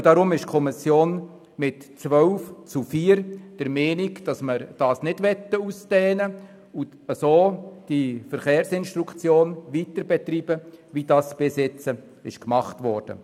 Deshalb ist die Kommission mit 12 zu 4 Stimmen der Meinung, sie wolle den Verkehrsunterricht nicht ausdehnen, sondern die Verkehrsinstruktion so weiterbetreiben, wie es bisher gemacht wurde.